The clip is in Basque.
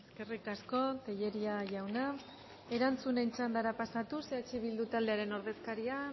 eskerrik asko tellería jauna erantzunen txandara pasatuz eh bildu taldearen ordezkaria